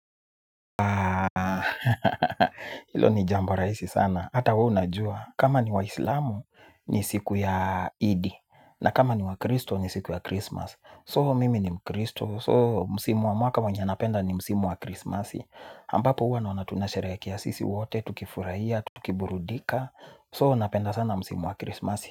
Hilo ni jambo rahisi sana hata wewe unajua. Kama ni wa islamu ni siku ya eidi. Na kama ni wa kristo ni siku ya krismas So mimi ni mkristo So msimu wa mwaka wenye napenda ni msimu wa krismasi ambapo huwa naona tunasherehekea sisi wote tukifurahia, tukiburudika So napenda sana msimu wa krismasi.